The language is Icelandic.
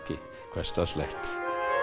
hversdagslegt